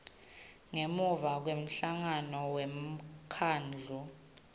ngemuva kwemhlangano wemkhandlu